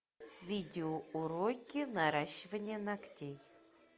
видео уроки наращивание ногтей